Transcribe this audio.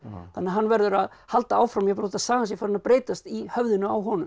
þannig að hann verður að halda áfram jafnvel þótt að sagan sé farin að breytast í höfðinu á honum